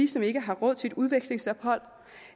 som ikke har råd til et udvekslingsophold